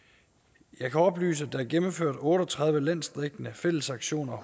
jeg kan oplyse at der er gennemført otte og tredive landsdækkende fællesaktioner og